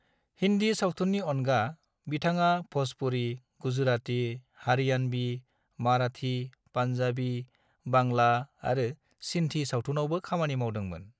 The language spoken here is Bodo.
हिन्दी सावथुननि अनगा, बिथाङा भ'जपुरी, गुजराती, हरियाणवी, माराठी, पान्जाबी, बांला आरो सिन्धी सावथुनआवबो खामानि मावदोंमोन।